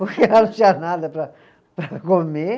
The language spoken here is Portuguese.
Porque lá não tinha nada para para comer.